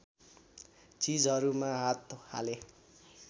चिजहरूमा हात हालेँ